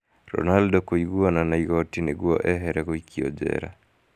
Ronaldo kũiguana na igoti nĩguo ehere gũikio njera